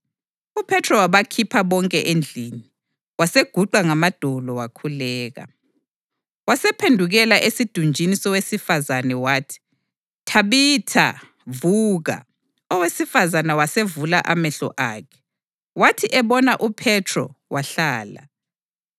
UPhethro wabakhupha bonke endlini; waseguqa ngamadolo wakhuleka. Wasephendukela esidunjini sowesifazane wathi, “Thabitha, vuka!” Owesifazane wasevula amehlo akhe, wathi ebona uPhethro wahlala.